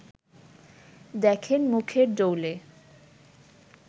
দেখেন মুখের ডৌলে